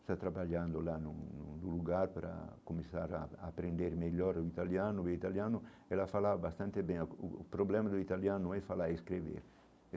Está trabalhando lá num num lugar para começar a a aprender melhor o italiano e o italiano, ela fala bastante bem o o problema do italiano é falar e escrever.